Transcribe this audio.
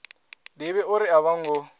ḓivhi uri a vho ngo